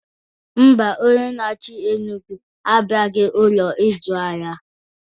Ḿbà, Onye naachi Enugwu abiaro na n'Ụlọ ịzụ ahịa